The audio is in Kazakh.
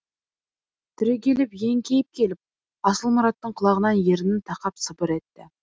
түрегеліп еңкейіп келіп асылмұраттың құлағына ернін тақап сыбыр етті